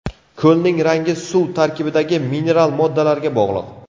Ko‘lning rangi suv tarkibidagi mineral moddalarga bog‘liq.